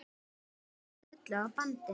Eins og perlur á bandi.